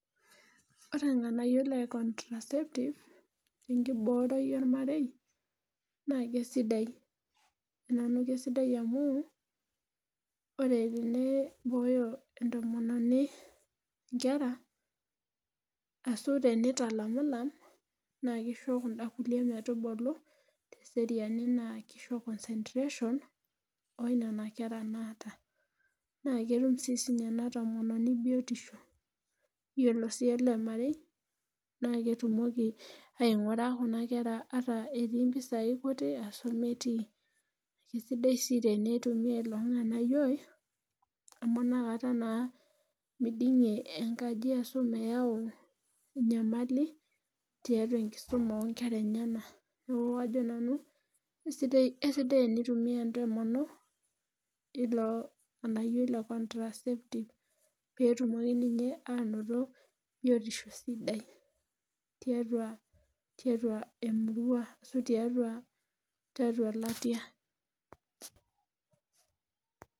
Ore ilnganayio le contraceptive enkiboroi olmarei, naa keisidai. naa keisidai amu, ore eneibooyo entomononi nkera ashu tenitalamilam. naa kisho kuda kulie metubulu te seriani naa kisho concentration oo nena kera naata. naa ketum sii ena tomononi biotisho, iyiolo sii ele marei naa ketumoki aingura Kuna kera ata etii mpisai kutu ashu metii. kisidai sii teneitumia ilo nganayiooi amu inakata naa midingie enkaji ashy meyau enyamali tiatua tenkisuma oo nkera enyenak. neeku kajo nanu esidai teneitumia entomonok ilo nganayiooi le contraceptive pee etumoki ninye aanoto biotisho sidai. tiatua emirua. ashu tiatua elatia.